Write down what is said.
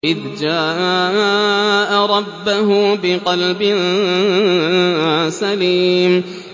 إِذْ جَاءَ رَبَّهُ بِقَلْبٍ سَلِيمٍ